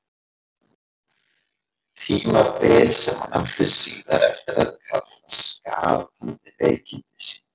Tímabil sem hann átti síðar eftir að kalla skapandi veikindi sín.